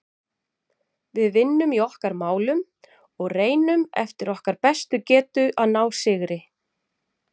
Við vinnum í okkar málum og reynum eftir okkar bestu getu að ná sigri.